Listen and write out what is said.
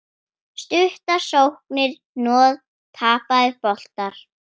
Stuttar sóknir, hnoð, tapaðir boltar.